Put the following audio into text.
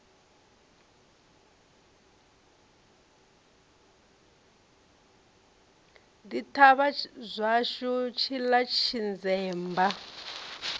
ḓi thavha zwashu tshiḽa tshinzemba